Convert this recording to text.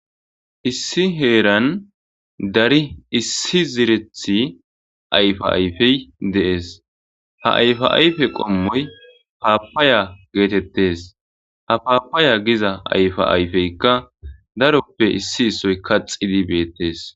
Issi heeran dari issi zirethi ayfa ayfey de7ees ha ayfa ayfe qommoy paapaya geetettes ha paapaya giza ayfa ayfeykka daroppe issi issoy kaxidi beettes